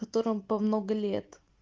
которым по много лет